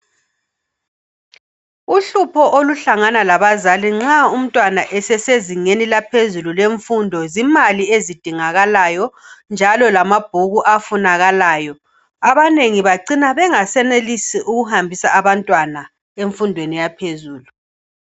Uhlupho oluhlangana labazali nxa umntwana esesezingeni eliphezulu lemfundo zimali ezidingakalayo njalo lemali efunakalayo abanengi bacina bengasenelisi ukuhambisa abantwana emfundweni yaphezulu